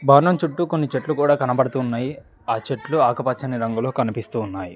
బాణం చుట్టూ కొన్ని చెట్టు కూడా కనబడుతున్నాయి ఆ చెట్లు ఆకుపచ్చని రంగులో కనిపిస్తూ ఉన్నాయి.